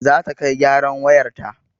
Zata kai gyaran wayarta